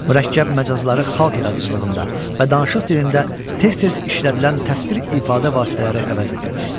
Mürəkkəb məcazları xalq yaradıcılığında və danışıq dilində tez-tez işlədilən təsvir ifadə vasitələri əvəz edirdi.